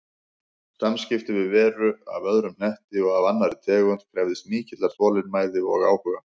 Samskipti við veru af öðrum hnetti og af annarri tegund krefðist mikillar þolinmæði og áhuga.